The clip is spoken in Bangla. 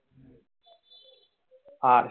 Arts